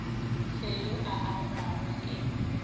fe yo a angwago ke